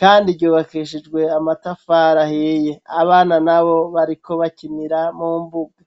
kandi ryubakishijwe amatafari ahiye. Abana nabo bariko bakinira mu mbuga.